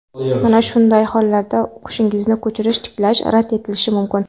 Mana shunday hollarda o‘qishingizni ko‘chirish tiklash rad etilishi mumkin.